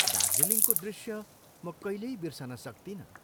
दार्जीलिङको दृश्य म कहिल्यै बिर्सन सक्तिनँ।